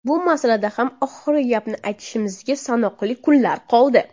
Bu masalada ham oxirgi gapni aytishimizga sanoqli kunlar qoldi.